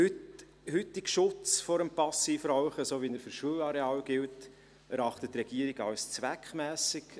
Den heutigen Schutz vor dem Passivrauchen, so wie er für Schulareale gilt, erachtet die Regierung als zweckmässig.